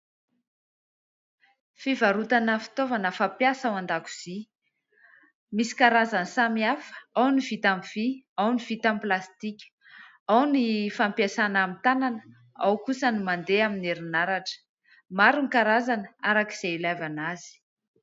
Fivarotana fitaovana fampiasa ao an-dakozia. Misy karazany samy hafa ao ny vita amin'ny vy, ao ny vita amin'ny plastika, ao ny fampiasana amin'ny tanana, ao kosa no mandeha amin'ny herinaratra. Maro ny karazana araka izay ilaivana azy.